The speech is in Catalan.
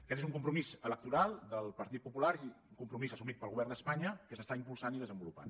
aquest és un compromís electoral del partit popular i un compromís assumit pel govern d’espanya que s’està impulsant i desenvolupant